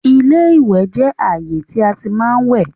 iléwẹ̀ jẹ ààyè tí a tí má ń wẹ̀